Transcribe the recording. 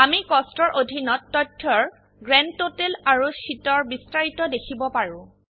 আমি কষ্টছ এৰ অধীনত তথ্যৰ গ্ৰান্ডটোটেল আৰু শীটৰ বিস্তাৰিত দেখিব পাৰো